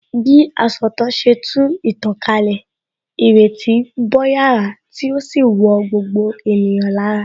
Bí asọ̀tàn ṣe tú ìtàn kalẹ̀, ìrètí bo yàrá tí ó sì wọ gbogbo ènìyàn lára